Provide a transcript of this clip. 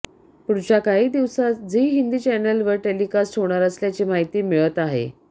पुढच्या काही दिवसात झी हिंदी चॅनेलवर टेलिकास्ट होणार असल्याची माहिती मिळत आहे